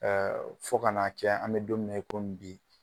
Ɛɛ fo ka na, an be don min na bi .